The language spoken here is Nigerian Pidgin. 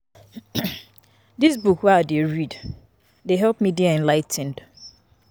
Dis book wey I dey read dey help me dey enligh ten ed